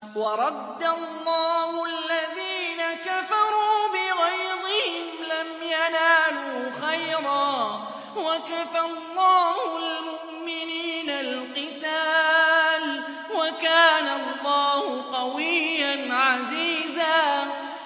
وَرَدَّ اللَّهُ الَّذِينَ كَفَرُوا بِغَيْظِهِمْ لَمْ يَنَالُوا خَيْرًا ۚ وَكَفَى اللَّهُ الْمُؤْمِنِينَ الْقِتَالَ ۚ وَكَانَ اللَّهُ قَوِيًّا عَزِيزًا